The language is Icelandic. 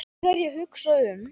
Þegar ég hugsa mig um